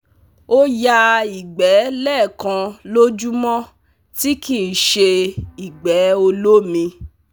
O ya igbe lekan lojumo ti ki n se igbe olomi